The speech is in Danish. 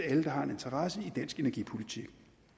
alle der har en interesse i dansk energipolitik